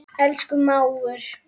Elsku mágur.